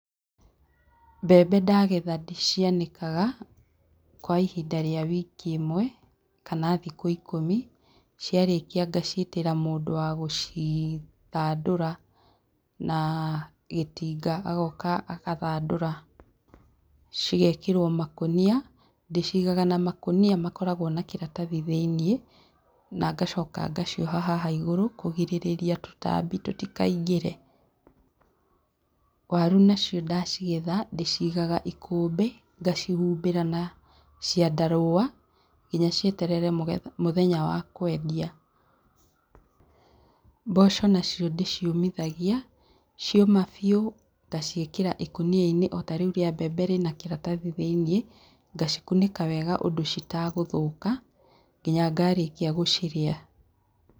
Mbembe ndagetha ndĩcianikaga kwa ihinda rĩa wiki ĩmwe kana thikũ ikũmi. Ciarĩkia ngaciĩtĩra mũndũ wa gũcithandũra na gĩtinga. Agooka agathandũra, cigekĩrwo makũnia. Ndĩciigaga na makũnia makoragwo na kĩratathi thĩinĩ na ngacoka ngacioha haha igũrũ kũgirĩrĩria tũtambi tũtikaingĩre. Waru nacio ndacigetha, ndĩciigaga ikũmbĩ, ngacihumbĩra na ciandarũa nginya cieterere mũthenya wa kwendia. Mboco nacio ndĩciũmithagia, cioma biũ, ngaciĩkĩra ikũnia-inĩ o tarĩu rĩa mbembe rĩna kĩratathi thĩinĩ, ngacikũnĩka wega ũndũ citagũthũka, nginya ngarĩkia gũcirĩa.